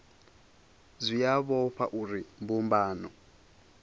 zwi a vhofha uri mbumbano